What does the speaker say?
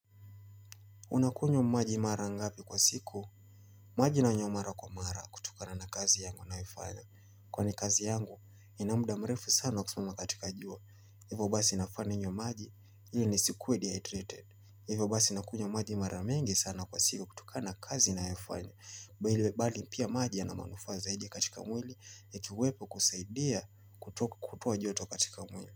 Unakunywa maji mara ngapi kwa siku? Maji nanywa mara kwa mara kutokana na kazi yangu ninayoifanya. Kwani kazi yangu, inamuda mrefu sana kusimama katika jua. Hivyo basi nafaa ninywe maji, ili nisikuwe dehydrated. Hivyo basi nakunywa maji mara mingi sana kwa siku kutokana na kazi ninayofanya. Bali bali pia maji yana manufaa zaidi katika mwili, ikiwepo kusaidia kutoa joto katika mwili.